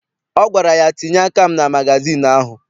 Ọ gwara ya, tinye aka m na magazịịnụ ahụ!